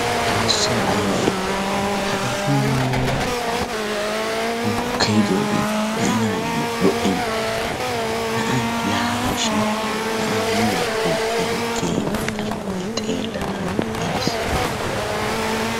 Xoosso ayba itti! Hagaa muleeraa bulkkeyiddoogee be''anaayo lo"enna na'ay laafa shin na'a muleeraa bulkkeyiddoogee keehippe tana xeellanaayo iitees.